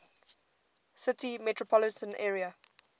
city metropolitan area